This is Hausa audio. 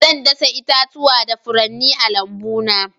Zan dasa itatuwa da furanni a lambuna.